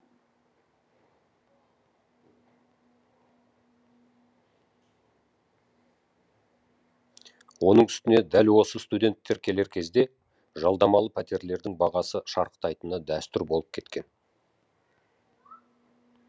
оның үстіне дәл осы студенттер келер кезде жалдамалы пәтерлердің бағасы шарықтайтыны дәстүр болып кеткен